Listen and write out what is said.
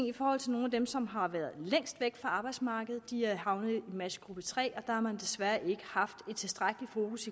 i forhold til nogle af dem som har været længst væk fra arbejdsmarkedet de er havnet i matchgruppe tre og der har man desværre ikke haft et tilstrækkeligt fokus